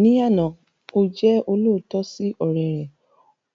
Ní àná, ó jẹ́ olóòótọ́ sí ọ̀rẹ́ rẹ̀,